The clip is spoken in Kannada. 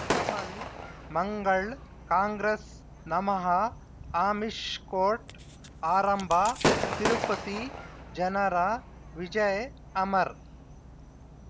ಕಮಲ್ ಮಂಗಳ್ ಕಾಂಗ್ರೆಸ್ ನಮಃ ಆಮಿಷ್ ಕೋರ್ಟ್ ಆರಂಭ ತಿರುಪತಿ ಜನರ ವಿಜಯ ಅಮರ್